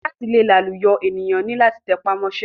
Láti le làlùyọ ènìyàn ni láti tẹpá mọ́ṣẹ́.